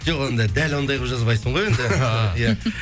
жоқ енді дәл ондай қылып жазбайсың ғой